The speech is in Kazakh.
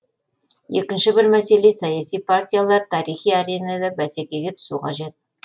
екінші бір мәселе саяси партиялар тарихи аренада бәсекеге түсу қажет